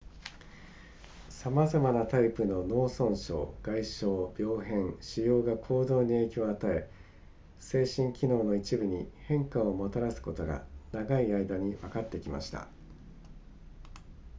さまざまなタイプの脳損傷外傷病変腫瘍が行動に影響を与え精神機能の一部に変化をもたらすことが長い間にわかってきました